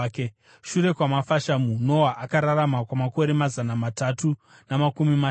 Shure kwamafashamu, Noa akararama kwamakore mazana matatu namakumi mashanu.